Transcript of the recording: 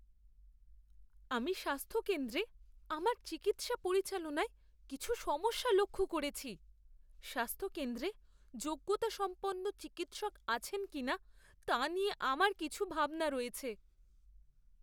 আমি স্বাস্থ্য কেন্দ্রে আমার চিকিৎসা পরিচালনায় কিছু সমস্যা লক্ষ্য করেছি। স্বাস্থ্যকেন্দ্রে যোগ্যতাসম্পন্ন চিকিৎসক আছেন কি না, তা নিয়ে আমার কিছু ভাবনা রয়েছে।